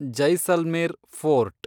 Jaisalmer fort